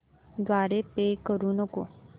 द्वारे पे करू नको